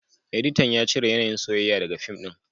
Editan ya cire yanayin soyayya daga fim din